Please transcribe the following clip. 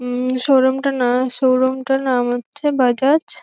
উম শোরুমট -টার না শোরুম -টার নাম হচ্ছে বাজাজ ।